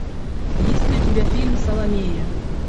есть ли у тебя фильм саломея